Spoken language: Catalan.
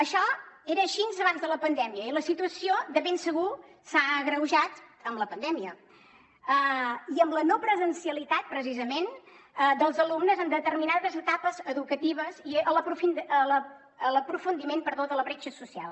això era així abans de la pandèmia i la situació de ben segur s’ha agreujat amb la pandèmia i amb la no presencialitat precisament dels alumnes en determinades etapes educatives i l’aprofundiment de la bretxa social